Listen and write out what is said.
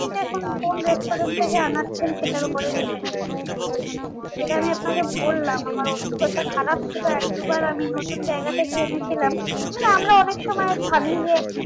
আপনি কোন restaurant থেকে আনাচ্ছেন সেটার ওপরে depend করছে। তো যেটা আমি আপনাকে বললাম আমার অভিজ্ঞতা খারাপ ছিল এক দুবার আমি নতুন জায়গা থেকে এনেছিলাম মানে আমরা অনেক সময় ভাবি যে